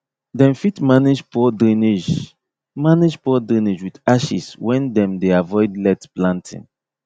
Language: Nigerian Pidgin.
dem fit manage poor drainage manage poor drainage with ashes when dem dey avoid let planting